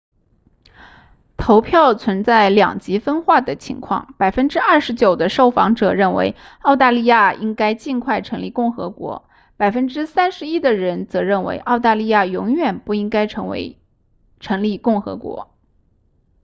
投票存在两极分化的情况 29% 的受访者认为澳大利亚应该尽快成立共和国 31% 的人则认为澳大利亚永远不应该成立共和国